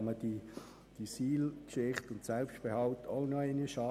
Dann kann man die SIL-Geschichte und die Selbstbehalte auch noch einmal anschauen.